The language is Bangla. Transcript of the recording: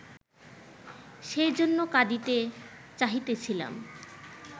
সেই জন্য কাঁদিতে চাহিতেছিলাম